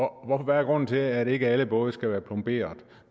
grunden til at ikke alle både skal være plomberet